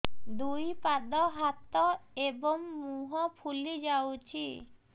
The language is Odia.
ଦୁଇ ପାଦ ହାତ ଏବଂ ମୁହଁ ଫୁଲି ଯାଉଛି